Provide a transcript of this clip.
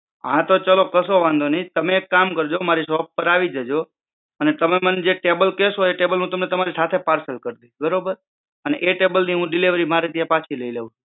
હા તો ચલો કસો વાંધો નઈ. તમે એક કામ કરજો. મારી shop પર આવી જાજો. અને તમે મને જ table કેસો એ ટેબલે હું તમને તમારી સાથે parcel કરી દઈશ બરોબર અને એ ટેબલે ની delivery હું મારે ત્યાં પછી લઇ લઈશ.